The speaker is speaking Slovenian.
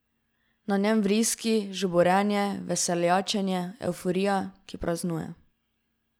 Na njem vriski, žuborenje, veseljačenje, evforija, ki praznuje ...